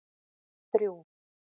þrjú